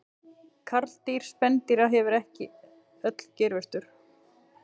Karldýr spendýra hafa ekki öll geirvörtur.